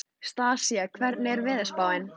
Stasía, hvernig er veðurspáin?